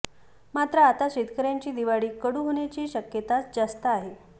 मात्र आता शेतकऱ्यांची दिवाळी कडू होण्याची शक्यताच जास्त आहे